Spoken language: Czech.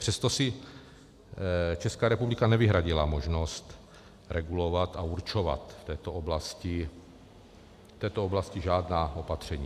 Přesto si Česká republika nevyhradila možnost regulovat a určovat v této oblasti žádná opatření.